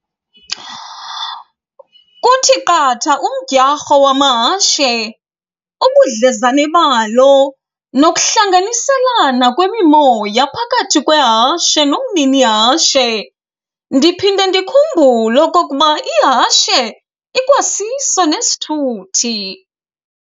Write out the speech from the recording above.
Kuthi qatha umdyarho wamahashe, ubudlezane balo nokuhlanganiselana kwemimoya phakathi kwehashe nomninihashe. Ndiphinde ndikhumbule okokuba ihashe ikwasiso nesithuthi.